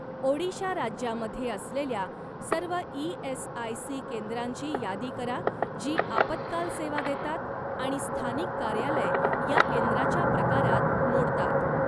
ओडिशा राज्यामध्ये असलेल्या सर्व ई.एस.आय.सी. केंद्रांची यादी करा जी आपत्काल सेवा देतात आणि स्थानिक कार्यालय या केंद्राच्या प्रकारात मोडतात.